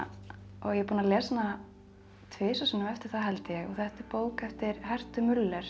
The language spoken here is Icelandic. ég er búin að lesa hana tvisvar sinnum eftir það held ég þetta er bók eftir hertu